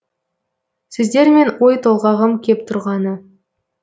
сіздермен ой толғағым кеп тұрғаны